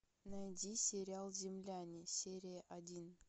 найди сериал земляне серия один